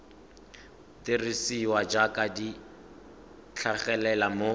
dirisiwa jaaka di tlhagelela mo